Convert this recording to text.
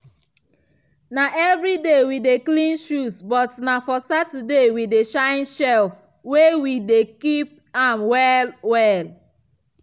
na evriday we dey clean shoes but na for saturday we dey shine shelf wey we dey keep am well-well.